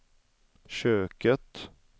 köket